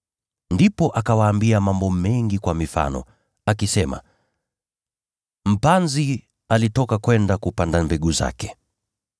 Ndipo akawaambia mambo mengi kwa mifano, akisema: “Mpanzi alitoka kwenda kupanda mbegu zake.